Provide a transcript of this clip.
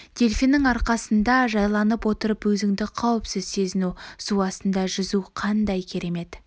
дельфиннің арқасында жайланып отырып өзіңді қауіпсіз сезіну су астында жүзу қандай керемет